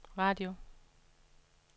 radio